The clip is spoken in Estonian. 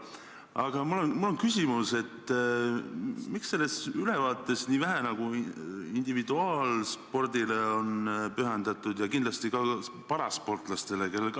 Aga mul on küsimus: miks selles ülevaates on nii vähe tähelepanu pööratud individuaalspordile ja ka parasportlastele?